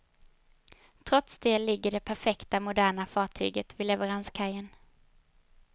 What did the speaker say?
Trots det ligger det perfekta, moderna fartyg vid leveranskajen.